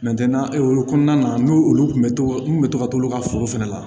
o kɔnɔna na n'o olu kun bɛ to n kun bɛ to ka t'olu ka foro fɛnɛ la